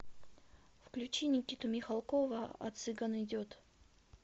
включи никиту михалкова а цыган идет